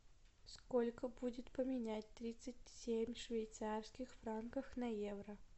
сколько будет поменять тридцать семь швейцарских франков на евро